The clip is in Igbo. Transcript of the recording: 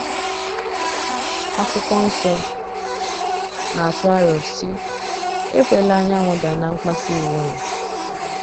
akwụkwo nsọ na - atụ aro, sị: “ Ekwela anyanwụ daa ná mkpasu iwe ụnụ. ”